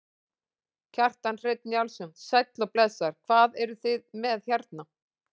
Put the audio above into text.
Kjartan Hreinn Njálsson: Sæll og blessaður, hvað eruð þið með hérna?